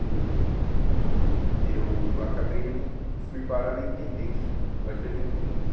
E eu acabei indo, fui parar na Intendência né, o á gê da Intendência.